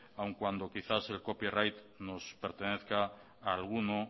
aun cuando quizás el copyright nos pertenezca a alguno